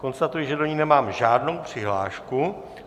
Konstatuji, že to ní nemám žádnou přihlášku.